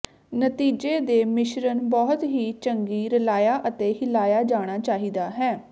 ਨਤੀਜੇ ਦੇ ਮਿਸ਼ਰਣ ਬਹੁਤ ਹੀ ਚੰਗੀ ਰਲਾਇਆ ਅਤੇ ਹਿਲਾਇਆ ਜਾਣਾ ਚਾਹੀਦਾ ਹੈ